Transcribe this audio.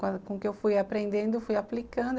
Com o que eu fui aprendendo, fui aplicando.